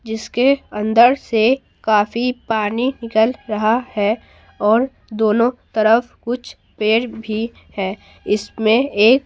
जिसके अंदर से काफी पानी निकल रहा है और दोनों तरफ कुछ पेर भी है इसमें एक--